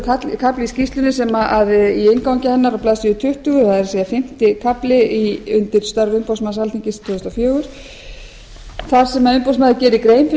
það er athyglisverður kafli í skýrslunni í inngangi hennar á blaðsíðu tuttugu það er fimmti kafli undir störf umboðsmanns alþingis tvö þúsund og fjögur þar sem umboðsmaður gerir grein fyrir